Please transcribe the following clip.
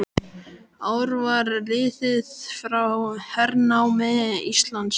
Ár var liðið frá hernámi Íslands.